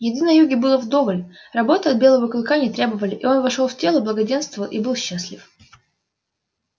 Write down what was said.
еды на юге было вдоволь работы от белого клыка не требовали и он вошёл в тело благоденства и был счастлив